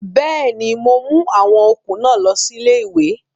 Bẹ́ẹ̀ni, mo mú àwọn okùn náà lọ sí ilé-ìwé